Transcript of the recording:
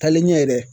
Taalen ɲɛ dɛ